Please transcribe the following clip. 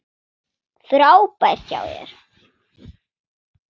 Frábært hjá þér!